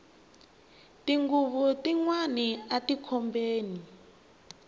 tinghuvu ti ana ati khobeni